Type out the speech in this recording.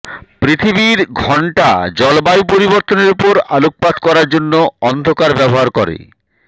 পৃথিবীর ঘন্টা জলবায়ু পরিবর্তনের উপর আলোকপাত করার জন্য অন্ধকার ব্যবহার করে